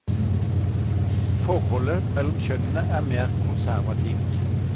Forholdet mellom kjønnene er mer konservativt.